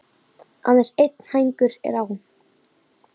Aðeins einn hængur er á.